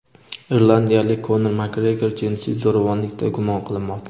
irlandiyalik Konor Makgregor jinsiy zo‘ravonlikda gumon qilinmoqda.